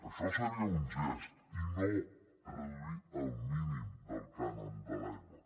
això seria un gest i no reduir el mínim del cànon de l’aigua